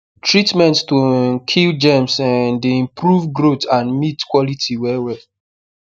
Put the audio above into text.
treatment to um kill germs um dey improve growth and meat quality well well